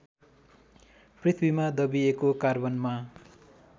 पृथ्वीमा दबिएको कार्बनमा